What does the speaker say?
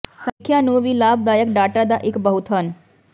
ਸਮੀਖਿਆ ਨੂੰ ਵੀ ਲਾਭਦਾਇਕ ਡਾਟਾ ਦਾ ਇੱਕ ਬਹੁਤ ਹਨ